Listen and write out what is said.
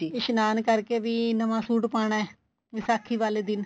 ਇਸ਼ਨਾਨ ਕਰਕੇ ਵੀ ਨਵਾ suit ਪਾਣਾ ਵਿਸਾਖੀ ਵਾਲੇ ਦਿਨ